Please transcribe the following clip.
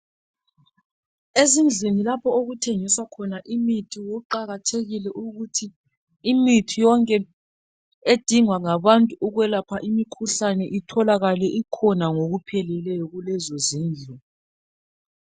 Ezindlini lapho okuthengiswa khona imithi, kuqakathekile ukuthi imithi yonke edingwa ngabantu ukwelapha imikhuhlane itholakale ikhona ngokupheleleyo kulezozindlu.